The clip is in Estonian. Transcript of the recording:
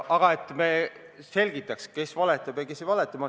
Aga selgitame, kes valetab ja kes ei valeta.